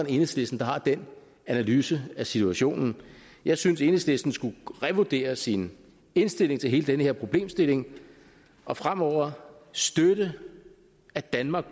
enhedslisten der har den analyse af situationen jeg synes enhedslisten skulle revurdere sine indstilling til hele den her problemstilling og fremover støtte at danmark